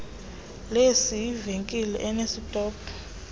lecs yivenkile enesitophu